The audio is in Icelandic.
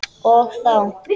Og þó!